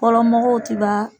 Fɔlɔmɔgɔw ti baa